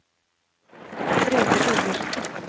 Brede Torgersen